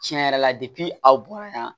Tiɲɛ yɛrɛ la aw bonya na